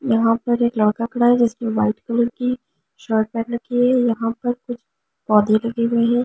यहां पर एक लड़का खड़ा है जिसमें वाइट कलर की शर्ट पहन राखी है यहां पर यहा पर कुछ पौधे लगी हुई है।